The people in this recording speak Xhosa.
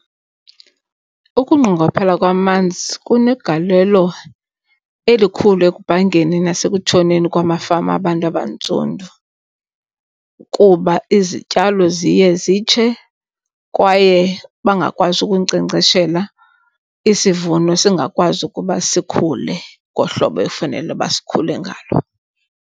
Ukunqongophala kwamanzi kunegalelo elikhulu ekubhangeni nasekutshoneni kwamafama abantu abantsundu. Kuba izityalo ziye zitshe kwaye bangakwazi ukunkcenkceshela, isivuno singakwazi ukuba sikhule ngohlobo ekufanele uba sikhule ngalo.